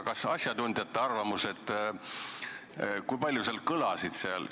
Kas asjatundjate arvamused seal ka kõlasid ja kui kõlasid, siis kui palju?